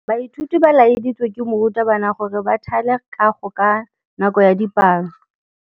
Baithuti ba laeditswe ke morutabana gore ba thale kagô ka nako ya dipalô.